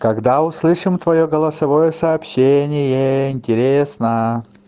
когда услышим твоё голосовое сообщение интересно